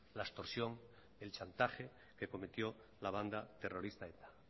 la extorsión el chantaje que cometió la banda terrorista eta